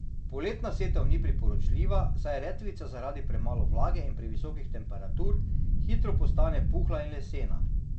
Poletna setev ni priporočljiva, saj redkvica zaradi premalo vlage in previsokih temperatur hitro postane puhla in lesena.